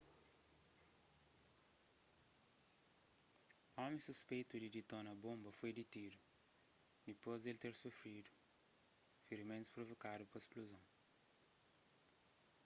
omi suspeitu di ditona bonba foi ditidu dipôs di el ter sufridu firimentus provokadu pa spluzon